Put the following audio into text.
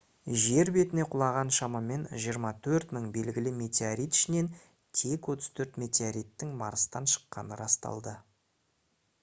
жер бетіне құлаған шамамен 24 000 белгілі метеорит ішінен тек 34 метеориттің марстан шыққаны расталды